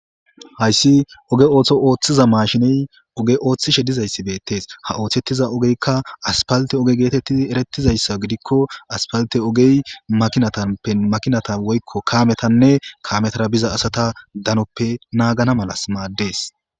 Haysi ogge otho oththiza mashshiney ogge oththishe dizayssi bettes ha oththetiza oggeyka aspaltte ogge gettetidi eretizayssa gidikko aspltte oggey maakinata woykko kaametanne kaametara biiza assa daanoppe naggana maala mades.